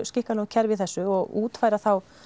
skikkanlegu kerfi í þessu og útfæra þá